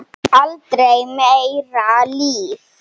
Aldrei meira líf.